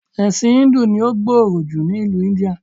Ẹ̀sìn íńdù ní ó gbòòrò ni ìlú Íńdíà.